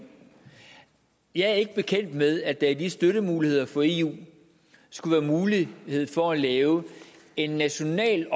jeg er ikke bekendt med at der i de støttemuligheder fra eu skulle være mulighed for at lave en national